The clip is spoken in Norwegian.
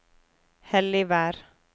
Helligvær